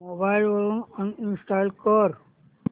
mobile वरून uninstall कर